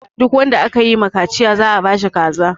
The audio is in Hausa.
Duk wanda aka yi ma kaciya za a ba shi kaza.